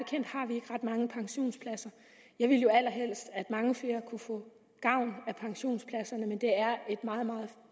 mange pensionspladser jeg ville jo allerhelst at mange flere kunne få gavn af pensionspladserne men det er et meget meget